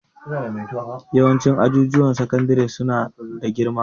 Yawancin ajujuwan sakandare su na da girma